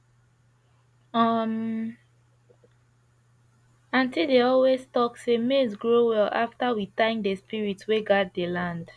um aunty dey always talk say maize grow well after we thank the spirits wey guard the land